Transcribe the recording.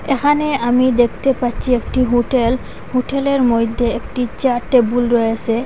এখানে আমি দেখতে পাচ্ছি একটি হুটেল হুটেলের মইধ্যে একটি চেয়ার টেবুল রয়েসে।